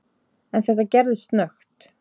En þetta gerðist snöggt.